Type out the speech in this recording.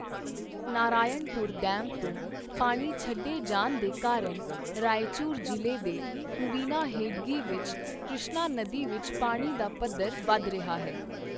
Narayanpur dam ਤੋਂ ਪਾਣੀ ਛੱਡੇ ਜਾਣ ਦੇ ਕਾਰਨ ਰਾਏਚੂਰ ਜ਼ਿਲ੍ਹੇ ਦੇ ਹੁਵਿਨਾਹੇਡਗੀ ਵਿੱਚ ਕ੍ਰਿਸ਼ਨਾ ਨਦੀ ਵਿੱਚ ਪਾਣੀ ਦਾ ਪੱਧਰ ਵੱਧ ਰਿਹਾ ਹੈ।